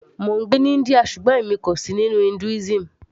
mò ń gbé ní India ṣùgbọ́n èmi kò sì nínú Hinduism